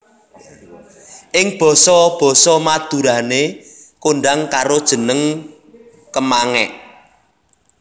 Ing basa basa Madurané kondhang karo jeneng kemangék